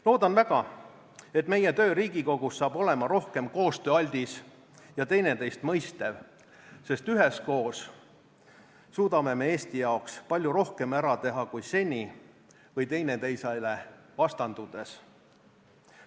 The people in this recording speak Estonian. Loodan väga, et meie töö Riigikogus saab olema rohkem koostööaldis ja teineteist mõistev, sest üheskoos suudame me Eesti jaoks palju rohkem ära teha kui seni või teineteisele vastandudes.